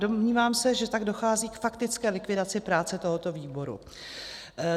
Domnívám se, že tak dochází k faktické likvidaci práce tohoto výboru.